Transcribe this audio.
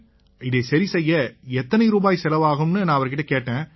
இதை சரி செய்ய எத்தனை ரூபாய் செலவாகும்னு நான் அவருகிட்ட கேட்டேன்